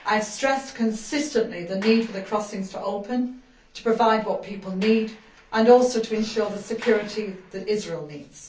I have consistently stressed the need for the crossings to open, to provide what people need, and to ensure the security that Israel needs.